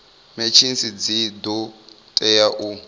machines dzi do tea u